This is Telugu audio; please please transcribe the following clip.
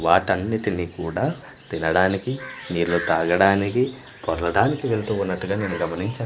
వాటన్నిటిని కూడా తినడానికి నీళ్ళు తాగడానికి పొర్లడానికి వెళ్తుఉన్నట్టుగా నేను గమనించా--